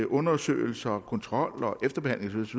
undersøgelse og kontrol efterbehandles